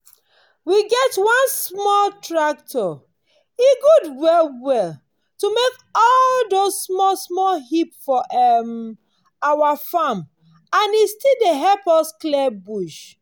we get one small tractor. e good well well to make all those small-small heap for um our farm and e still dey help us clear bush.